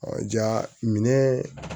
ja minɛ